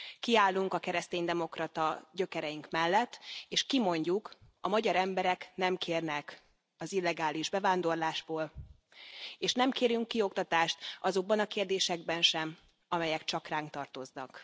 Kiállunk a kereszténydemokrata gyökereink mellett, és kimondjuk a magyar emberek nem kérnek az illegális bevándorlásból, és nem kérünk kioktatást azokban a kérdésekben sem, amelyek csak ránk tartoznak.